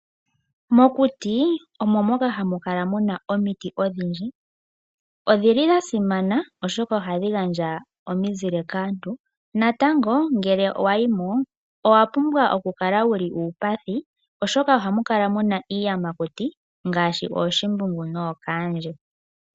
Mokuti omo moka hamukala muna omiti odhindji. Odhili dha simana oshoka ohadhi gandja omizile kaantu. Natango ngele wa yi mo owa pumbwa oku kala wuli uupathi oshoka ohamu kala muna iiyamakuti ngaashi ooshimbungu nookandje.